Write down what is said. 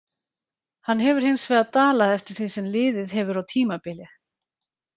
Hann hefur hinsvegar dalað eftir því sem liðið hefur á tímabilið.